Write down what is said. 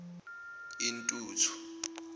intuthu